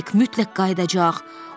Hek mütləq qayıdacaq.